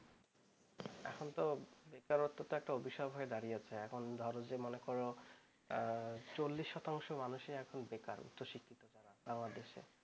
এখন তো বেকারত্ব একটা অভিশাপ হয়ে দাঁড়িয়েছে এখন আরও যে মনে কর চল্লিশ শতাংশ মানুষই এখন বেকার